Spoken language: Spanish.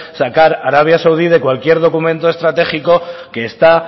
sacar a arabia saudí de cualquier documento estratégico que está